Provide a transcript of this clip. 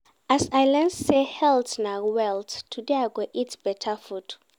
As I learn sey health na wealth, today I go eat beta food.